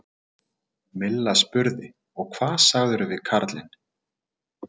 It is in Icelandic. Milla spurði: Og hvað sagðirðu við karlinn?